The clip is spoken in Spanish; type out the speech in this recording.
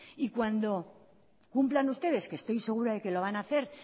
y cuando cumplan ustedes que estoy segura de que lo van a hacer